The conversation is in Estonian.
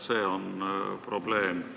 See on probleem.